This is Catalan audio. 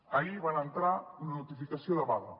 ahir van entrar una notificació de vaga